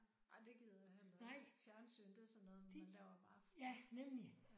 Ej det gider jeg heller ikke. Fjernsyn det er sådan noget man laver om aftenen